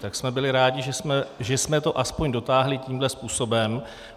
Tak jsme byli rádi, že jsme to aspoň dotáhli tímhle způsobem.